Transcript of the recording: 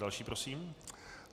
Další prosím.